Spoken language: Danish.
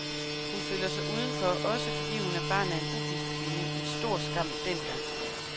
Hun føler sig udenfor, også fordi hun er barn af en ugift kvinde, en stor skam dengang.